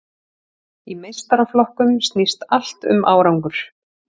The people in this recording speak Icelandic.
Í meistaraflokkum snýst allt um árangur.